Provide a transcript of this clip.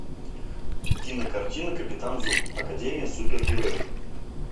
кинокартина капитан зум академия супергероев